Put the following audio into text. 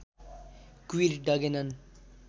Kabir डगेनन्